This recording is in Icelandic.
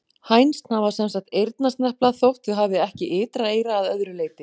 Hænsn hafa sem sagt eyrnasnepla þótt þau hafi ekki ytra eyra að öðru leyti.